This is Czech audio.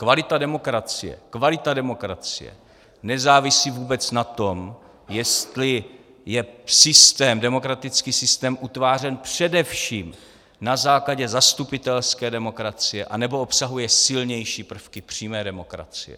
Kvalita demokracie nezávisí vůbec na tom, jestli je demokratický systém utvářen především na základě zastupitelské demokracie, anebo obsahuje silnější prvky přímé demokracie.